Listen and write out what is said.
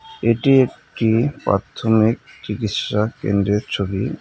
এটি একটি প্রাথমিক চিকিৎসা কেন্দ্রের ছবি .